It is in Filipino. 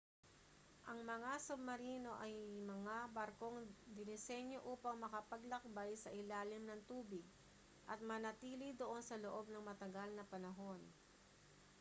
ang mga submarino ay mga barkong dinisenyo upang makapaglakbay sa ilalim ng tubig at manatili doon sa loob ng matagal na panahon